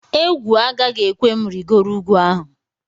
Egwu agaghị ekwe m rịgoro ugwu ahụ